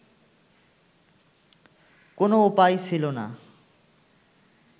কোন উপায় ছিলো না